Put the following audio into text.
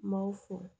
M'aw fo